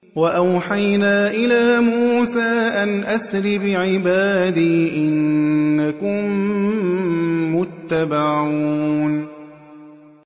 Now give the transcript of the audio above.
۞ وَأَوْحَيْنَا إِلَىٰ مُوسَىٰ أَنْ أَسْرِ بِعِبَادِي إِنَّكُم مُّتَّبَعُونَ